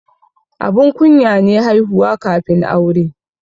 Abun kunya ne haihuwa kafin aure.